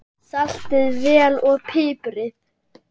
Saltið vel og piprið.